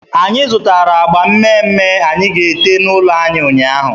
Anyị zụtara agba mme mme anyị ga-ete n'ụlọ anyị ụnyaahụ.